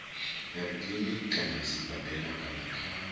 kiliniki kana sibadela kana kha